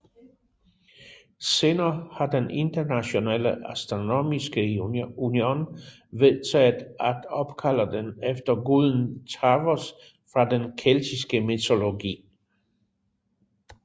Senere har den Internationale Astronomiske Union vedtaget at opkalde den efter guden Tarvos fra den keltiske mytologi